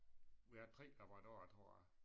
Vi har haft 3 labradorer tror jeg